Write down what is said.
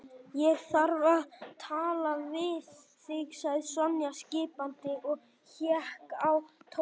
Ég þarf að tala við þig sagði Sonja skipandi og hékk á Tóta.